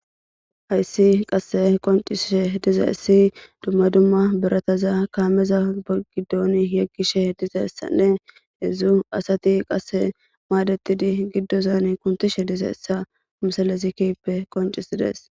Haysi qase qonc'ishe dizaysi duma duma birataza kameza gidon yegishe dizaysane hedzu asati qase madetidi gidon kuntishe dizaysa missilezi kehipe qonc'sides.